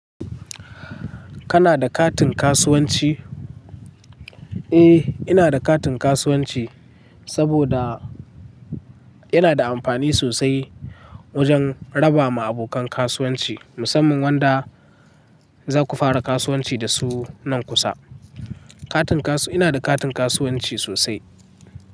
Kana da katin kasuwanci? Eh, ina da katin kasuwanci saboda yana da amfani sosai wajen raba ma abokan kasuwanci, musamman wanda zaku fara kasuwanci da su nan kusa. Katin kasu-- ina da katin kasuwanci sosai.